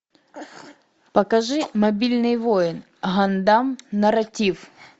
покажи мобильный воин гандам нарратив